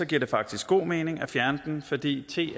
det faktisk god mening at fjerne den fordi te